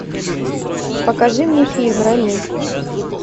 покажи мне фильм рами